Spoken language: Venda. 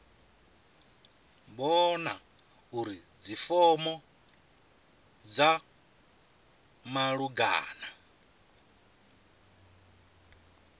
vhona uri dzifomo dza malugana